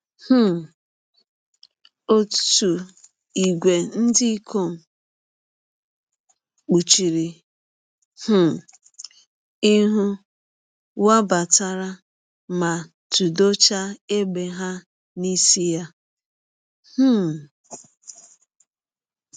um Ọtụ ìgwè ndị ikom kpuchiri um ihu wabatara ma tụdọchaa égbè ha n’isi ya. um